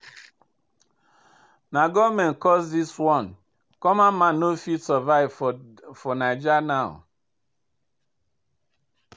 Na government cause this one, common man no fit survive for Naija now.